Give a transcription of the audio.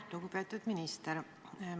Lugupeetud minister!